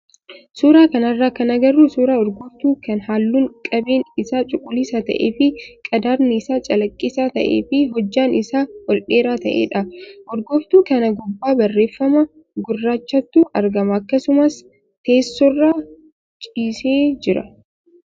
Suuraa kanarraa kan agarru suuraa urgooftuu kan halluun qabeen isaa cuquliisa ta'ee fi qadaadni isaa calaqqisaa ta'ee fi hojjaan isaa ol dheeraa ta'edha. Urgooftuu kana gubbaa barreeffama gurraachatu argama akkasumas teessoorra ciisee jira.